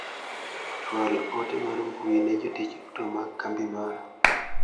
Chwal ote mar mbui ne jotich duto mag kambi mara.